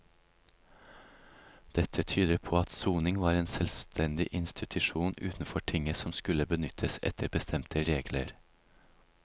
Dette tyder på at soning var en selvstendig institusjon utenfor tinget som skulle benyttes etter bestemte regler.